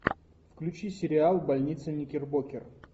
включи сериал больница никербокер